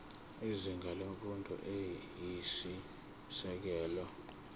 izinga lemfundo eyisisekelo